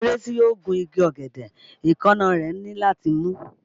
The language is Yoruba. Ọ̀kẹ́rẹ́ tí yóò gun igi ọ̀gẹ̀dẹ̀, èékánná rẹ̀ ní láti mú